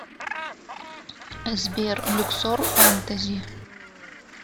сбер люксор фентези